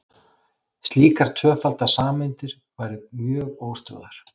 slíkar tvöfaldar sameindir væru mjög óstöðugar